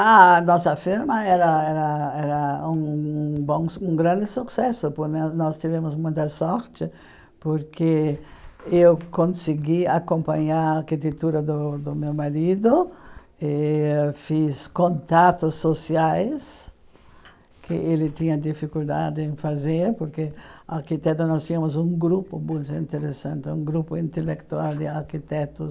A nossa firma era era era um um bom um grande sucesso, nós tivemos muita sorte, porque eu consegui acompanhar a arquitetura do do meu marido, fiz contatos sociais, que ele tinha dificuldade em fazer, porque arquiteto nós tínhamos um grupo muito interessante, um grupo intelectual de arquitetos